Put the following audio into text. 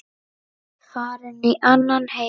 Farin í annan heim.